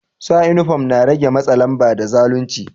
Sa uniform na rege matsa lamba da zalunci.